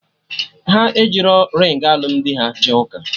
Ha ejirọ ringị alụmdi ha jee ụka